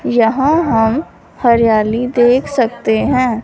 यहां हम हरियाली देख सकते हैं।